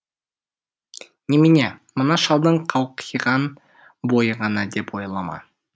немене мына шалдың қауқиған бойы ғана деп ойлама